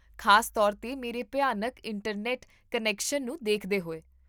ਖ਼ਾਸ ਤੌਰ 'ਤੇ ਮੇਰੇ ਭਿਆਨਕ ਇੰਟਰਨੈਟ ਕਨੈਕਸ਼ਨ ਨੂੰ ਦੇਖਦੇ ਹੋਏ